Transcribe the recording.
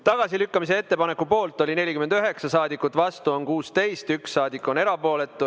Tagasilükkamise ettepaneku poolt oli 49 saadikut, vastu on 16 ja 1 saadik on erapooletu.